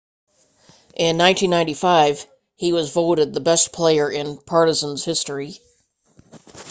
in 1995 he was voted the best player in partizan's history